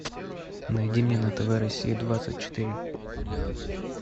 найди мне на тв россия двадцать четыре